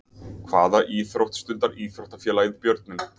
Hvaða íþrótt stundar íþróttafélagið Björninn?